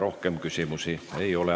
Rohkem küsimusi ei ole.